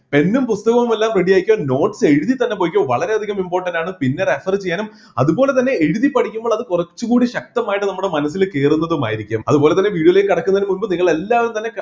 pen ഉം പുസ്‌തകവും എല്ലാം ready ആക്കിയാൽ notes എഴുതി തന്നെ പൊയ്‌ക്കോ വളരെ അധികം important ആണ് പിന്നെ refer ചെയ്യാനും അതുപോലെ തന്നെ എഴുതി പഠിക്കുമ്പോൾ അത് കുറച്ചുകൂടി ശക്തമായിട്ട് നമ്മുടെ മനസ്സിൽ കേറുന്നതുമായിരിക്കും അതുപോലെതന്നെ video ലേക്ക് കടക്കുന്നതിന് മുമ്പ് നിങ്ങൾ എല്ലാവരും തന്നെ